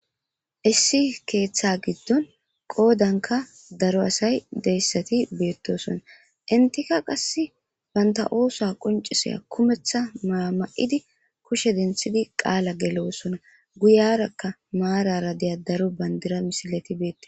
Issi keeththa giddon qoodanka daro asay deyssati beettosona intika qass banta oosa qonciseya kumeththa maya ma'idi kushe denthidi qaala gelosona guyarakka maarara deya daro bandira misileti beete.